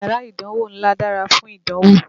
Yárà ìdánwó ńlá dárá fún ìdánwò.